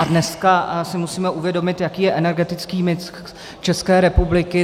A dneska si musíme uvědomit, jaký je energetický mix České republiky.